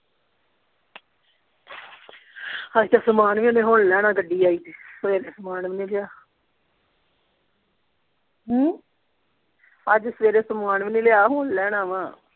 ਹਜੇ ਤਾਂ ਸਮਾਨ ਵੀ ਹਾਲੇ ਹੁਣ ਲੈਣਾ ਗੱਡੀ ਆਈ ਏ ਸਵੇਰੇ ਸਮਾਨ ਵੀ ਨਹੀਂ ਲਿਆ ਹਮ ਅੱਜ ਸਵੇਰੇ ਸਮਾਨ ਵੀ ਨਹੀਂ ਲਿਆ ਹੁਣ ਲੈਣਾ ਵਾ